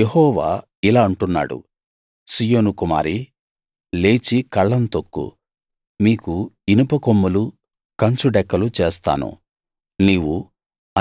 యెహోవా ఇలా అంటున్నాడు సీయోను కుమారీ లేచి కళ్ళం తొక్కు మీకు ఇనుప కొమ్ములూ కంచు డెక్కలూ చేస్తాను నీవు